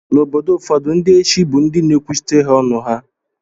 Na obodo ụfọdu ndi echi bu ndi na ekwuchitere ha ọnụ ha.